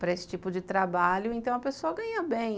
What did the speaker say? para esse tipo de trabalho, então a pessoa ganha bem.